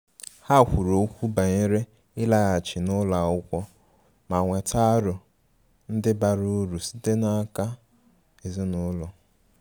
Ha kwuru okwu banyere ịlaghachi n' ụlọ akwụkwọ ma nweta aro ndi bara uru sitere n' aka ezinụlọ.